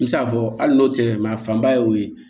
N bɛ se k'a fɔ hali n'o tɛ mɛ a fanba ye o ye